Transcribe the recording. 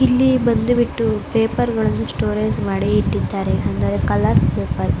ಇಲ್ಲಿ ಬಂದುಬಿಟ್ಟು ಪೇಪರ್ ಗಳನ್ನ ಸ್ಟೋರೇಜ್ ಮ್ಅಡಿ ಇಟ್ಟಿಯಿದ್ದರೆ ಅಂದರೆ ಕಲರ್ ಪೇಪರ್ .